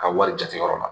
Ka wari jate yɔrɔ la